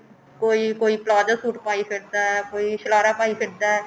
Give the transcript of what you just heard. ਕੋਈ ਕੋਈ palazzo suit ਪਾਈ ਫਿਰਦਾ ਕੋਈ ਸ਼ਰਾਰਾ ਪਾਈ ਫਿਰਦਾ